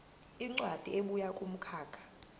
incwadi ebuya kumkhakha